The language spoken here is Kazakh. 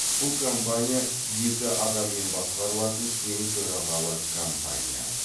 бұл компания екі адаммен басқарылатын тең төрағалы кампания